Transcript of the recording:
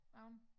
Der en